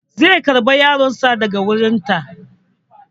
Zai karɓa yaron sa daga wajen ta